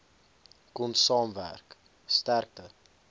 kon saamwerk sterkte